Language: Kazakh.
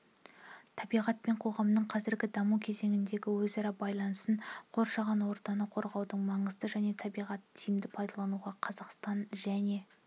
табиғат пен қоғамның қазіргі даму кезеңіндегі өзара байланысын қоршаған ортаны қорғаудың маңызын және табиғатты тиімді пайдалануды қазақстан және